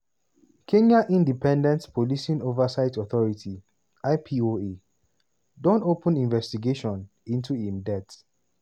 kenya independent policing oversight authority (ipoa) don open investigation into im death